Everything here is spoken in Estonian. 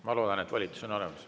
Ma loodan, et volitus on olemas.